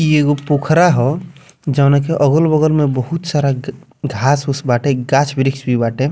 इ एगो पोखरा ह जौना के अगल बगल मे बहुत सारा घास- उस बाटे गाछ-वृक्ष भी बाटे।